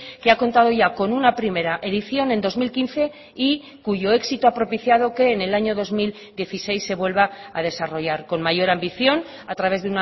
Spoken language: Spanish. que ha contado ya con una primera edición en dos mil quince y cuyo éxito ha propiciado que en el año dos mil dieciséis se vuelva a desarrollar con mayor ambición a través